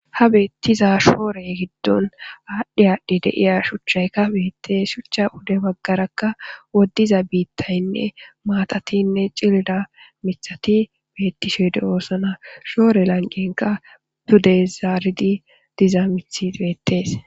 ha beettiza shoore giddon aadhdhe aadhdhe deiya shuchchaykka beette shuchcha ude baggarakka woddiza biittaynne maatatinne cilila mithati beettishede oosana shoore lanqenka dude zaaridi diza mithi beettees